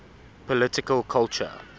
political culture